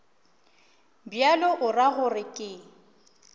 bjalo o ra gore ke